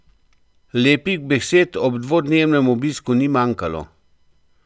Lepih besed ob dvodnevnem obisku ni manjkalo.